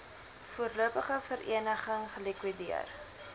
voorlopige vereniging gelikwideer